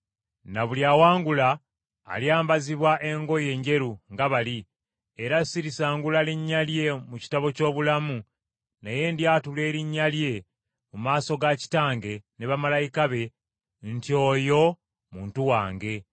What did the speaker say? Na buli awangula alyambazibwa engoye enjeru nga bali, era sirisangula linnya lye mu kitabo ky’obulamu, naye ndyatula erinnya lye mu maaso ga Kitange ne bamalayika be nti oyo muntu wange.